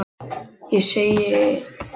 Ég segi nei, takk.